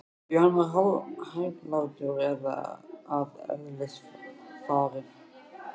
Því hann var hæglátur að eðlisfari.